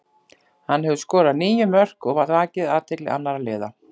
Hann hefur skorað níu mörk og vakið athygli annara liða.